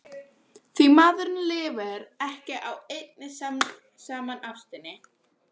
því maðurinn lifir ekki á einni saman ástinni.